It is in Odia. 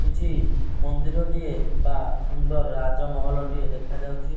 କିଛି ମନ୍ଦିର ଟିଏ ବା ସୁନ୍ଦର୍ ରାଜ ମହଲ ଟିଏ ଦେଖା ଯାଉଛି।